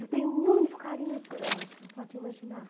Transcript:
Eu tenho muito carinho por ela, você não pode imaginar.